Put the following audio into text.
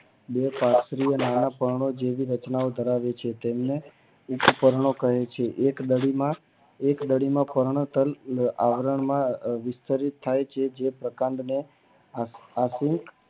બે શાસ્ત્રી ઓ આવી રચના ધરાવે છે હું તેને કહું છગુ એક બાજુ માં એકદલી માં પર્ણ તલ આવરણ માં વિચલિત થાય છે જે આવરણ માં પ્રકાંડો નો આખો